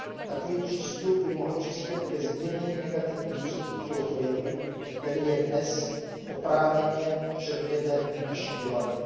Takový přístup by mohl přispět ke zmírnění negativních důsledků tohoto jevu, který je dnes oprávněně předmětem naší debaty.